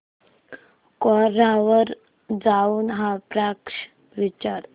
कोरा वर जाऊन हा प्रश्न विचार